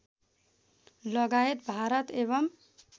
लगायत भारत एवम्